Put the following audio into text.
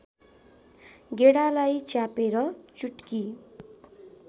गेडालाई च्यापेर चुट्की